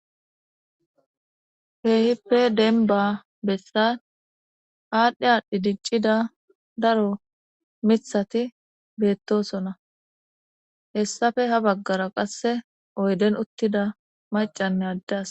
heehippe denba bessan aadhdhi aadhdhi diccida daro mithati beettosona hessafe ha baggara qasse oyden uttida macanne addas